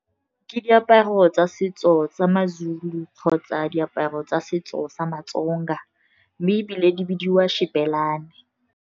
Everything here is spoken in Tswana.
Ke diaparo tsa setso tsa maZulu kgotsa diaparo tsa setso sa maTsonga, mme ebile di bidiwa xhibelane.